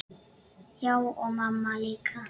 Já, og mamma líka.